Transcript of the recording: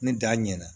Ni da ɲɛna